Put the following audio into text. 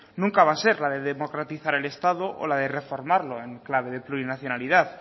nunca va a ser la de democratizar el estado o la de reformarlo en clave de plurinacionalidad